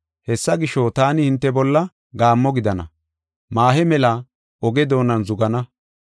Hessa gisho, taani hinte bolla gaammo gidana; maahe mela oge doonan zugana.